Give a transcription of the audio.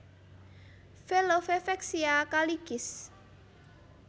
Velove Vexia Kaligis